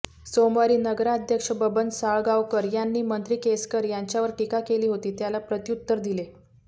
सोमवारी नगराध्यक्ष बबन साळगावकर यांनी मंत्री केसरकर यांच्यावर टीका केली होती त्याला प्रत्युत्तर दिले